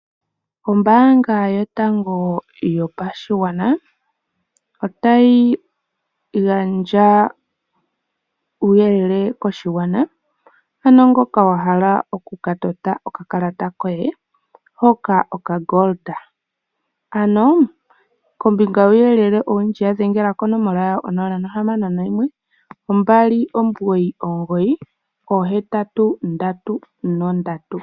Ombaanga yotango yopashigwana otayi gandja uuyelele koshigwana. Ano ngoka wa hala oku ka tota okakalata koye hoka okangoli, ano kombinga yuuyelele owundji ya dhengela konomola onola, nohamano noyimwe, ombali, omugoyi, omugoyi, oohetatu ndatu nondatu.